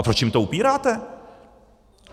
A proč jim to upíráte?